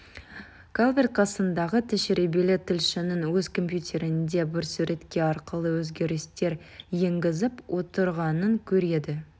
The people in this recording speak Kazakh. калверт қасындағы тәжірибелі тілшінің өз компьютерінде бір суретке арқылы өзгерістер енгізіп отырғанын көреді